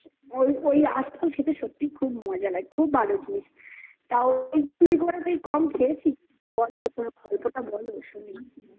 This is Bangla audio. ওই ওই আশফল খেতে সত্যিই খুব মজা হয়. খুব ভালো জিনিস. তাও একটু, কম খেয়েছি. বলো গল্পটা বলো শুনি